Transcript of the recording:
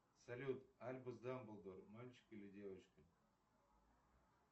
салют альбус дамблдор мальчик или девочка